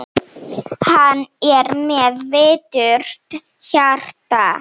Hann er með viturt hjarta.